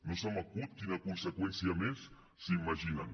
no se m’acut quina conseqüència més s’imaginen